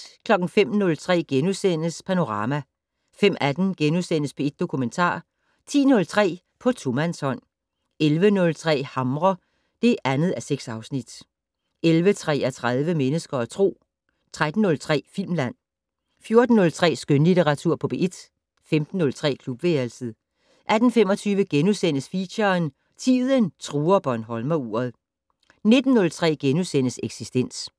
05:03: Panorama * 05:18: P1 Dokumentar * 10:03: På tomandshånd 11:03: Hamre (2:6) 11:33: Mennesker og Tro 13:03: Filmland 14:03: Skønlitteratur på P1 15:03: Klubværelset 18:25: Feature: Tiden truer bornholmeruret * 19:03: Eksistens *